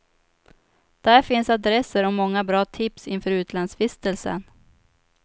Där finns adresser och många bra tips inför utlandsvistelsen.